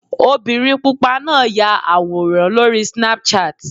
Obìnrin pupa náà ya àwòrán lórí Snapchat.